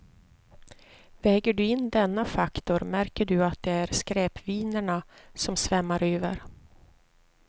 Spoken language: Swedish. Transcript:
Väger du in denna faktor märker du att det är skräpvinerna som svämmar över.